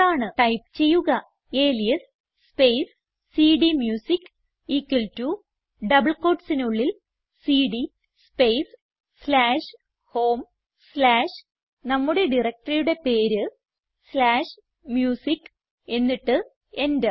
type ചെയ്യുക alias space സിഡിഎംയൂസിക്ക് equal to double quotesനുള്ളിൽ CD space slash home slash നമ്മുടെ directoryയുടെ പേര് സ്ലാഷ് മ്യൂസിക്ക് എന്നിട്ട് എന്റർ